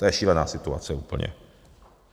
To je šílená situace úplně.